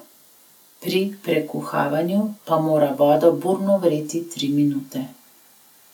Pri prekuhavanju pa mora voda burno vreti tri minute.